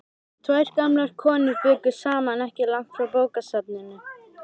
Tvær gamlar konur bjuggu saman ekki langt frá bókasafninu.